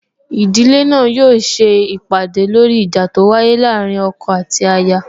Ìdílé náà yóò se ìpàdè lóri ìjà tó wáyé láàrín ọkọ àti aya